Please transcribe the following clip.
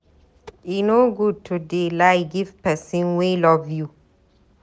E no good to dey lie give pesin wey love you.